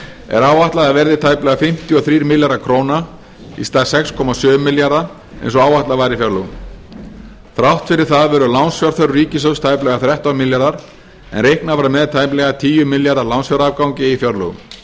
er áætlað að verði tæplega fimmtíu og þrír milljarðar króna í stað sex komma sjö milljarða eins og áætlað var í fjárlögum þrátt fyrir það verður lánsfjárþörf ríkissjóðs tæplega þrettán milljarðar en reiknað var með tæplega tíu milljarða lánsfjárafgangi í fjárlögum